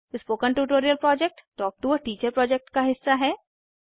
spoken tutorial project talk to a teacher project का हिस्सा है